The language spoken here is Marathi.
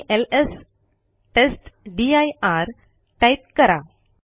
आणि एलएस टेस्टदीर टाईप करा